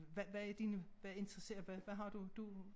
Hvad hvad er dine hvad interesserer hvad har du du